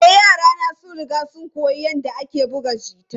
E, yarana sun riga sun koyi yadda ake buga gita.